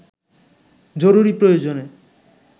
জরুরি প্রয়োজনে